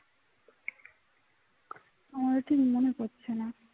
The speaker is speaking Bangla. আমার ঠিক মনে পড়ছে না